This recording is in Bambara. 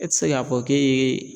E ti se k'a fɔ k'e ye